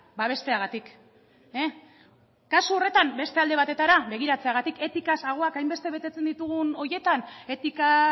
babesteagatik kasu horretan beste alde batetara begiratzeagatik etikaz ahoa hainbeste betetzen ditugun horietan etika